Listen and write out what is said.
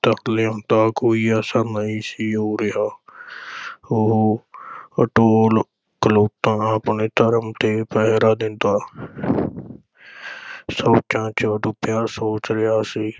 ਤਰਲਿਆਂ ਦਾ ਕੋਈ ਅਸਰ ਨਹੀਂ ਸੀ ਹੋ ਰਿਹਾ ਉਹ ਅਡੋਲ ਖਲੋਤਾ ਆਪਣੇ ਧਰਮ ’ਤੇ ਪਹਿਰਾ ਦਿੰਦਾ ਸੋਚਾਂ ’ਚ ਡੁੱਬਿਆ ਸੋਚ ਰਿਹਾ ਸੀ,